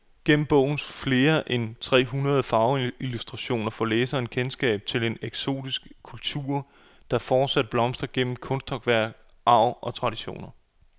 Gennem bogens flere end tre hundrede farveillustrationer får læseren kendskab til en eksotisk kultur, der fortsat blomstrer gennem kunsthåndværk, arv og traditioner.